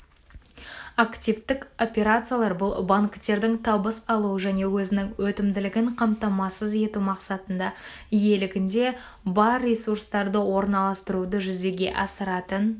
активтік операциялар бұл банктердің табыс алу және өзінің өтімділігін қамтамасыз ету мақсатында иелігінде бар ресурстарды орналастыруды жүзеге асыратын